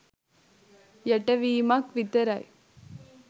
යට වීමක් විතරයි